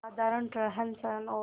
साधारण रहनसहन और